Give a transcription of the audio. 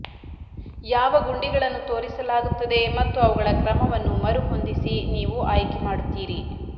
ಯಾವ ಗುಂಡಿಗಳನ್ನು ತೋರಿಸಲಾಗುತ್ತದೆ ಮತ್ತು ಅವುಗಳ ಕ್ರಮವನ್ನು ಮರುಹೊಂದಿಸಿ ನೀವು ಆಯ್ಕೆಮಾಡುತ್ತೀರಿ